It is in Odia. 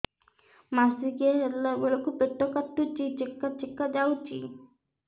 ମାସିକିଆ ହେଲା ବେଳକୁ ପେଟ କାଟୁଚି ଚେକା ଚେକା ଯାଉଚି